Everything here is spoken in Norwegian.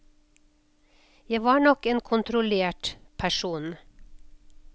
Jeg var nok en kontrollert person.